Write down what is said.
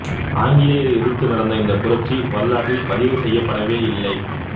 ஆங்கிலேயரை எதிர்த்து நடந்த இந்தப் புரட்சி வரலாற்றில் பதிவு செய்யப்படவே இல்லை